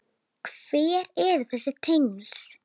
Hver eru þessi tengsl?